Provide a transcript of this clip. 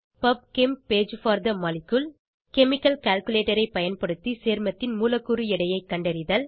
pub chem page for the molecule chemical calculator ஐ பயன்படுத்தி சேர்மத்தின் மூலக்கூறு எடையை கண்டறிதல்